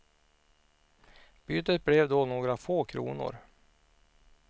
Bytet blev då några få kronor.